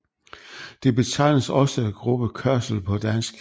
Det betegnes også gruppekørsel på dansk